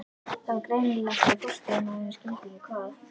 Það var greinilegt að forstöðumaðurinn skildi ekkert hvað